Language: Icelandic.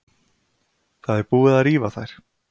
Það er búið að rífa þær.